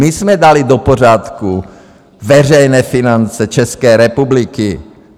My jsme dali do pořádku veřejné finance České republiky!